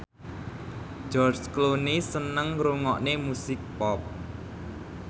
George Clooney seneng ngrungokne musik pop